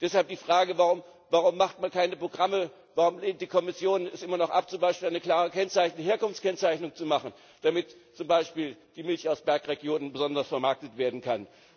Deshalb die Frage Warum macht man keine Programme, warum lehnt die Kommission es immer noch ab, zum Beispiel eine klare Herkunftskennzeichnung zu machen, damit zum Beispiel die Milch aus Bergregionen besonders vermarktet werden kann?